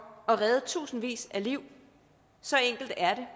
at redde tusindvis af liv så enkelt er det